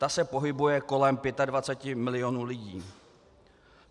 Ta se pohybuje kolem 25 milionů lidí.